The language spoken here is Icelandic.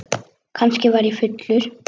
Var ég kannski fullur?